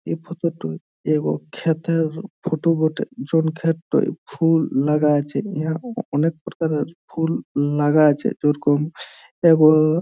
এই ফোট -টোয় ক্ষেত -এর ফোট বটে | যন ক্ষেতটয় ফুল লাগা আছে | ইঁহা অনেক প্রকারের ফুল লাগা আছে | যেরকম এব --